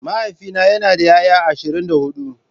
Mahaifina yana da 'ya'ya ashirin da hudu.